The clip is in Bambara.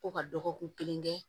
Ko ka dɔgɔkun kelen kɛ